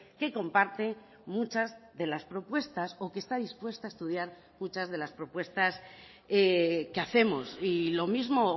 que comparte muchas de las propuestas o que está dispuesta a estudiar muchas de las propuestas que hacemos y lo mismo